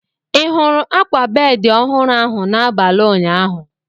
Ị hụrụ akwa bedị ọhụrụ ahụ n'abalị ụnyaahụ?